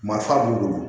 Masa b'u bolo